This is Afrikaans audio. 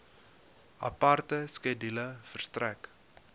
aparte skedule verstrek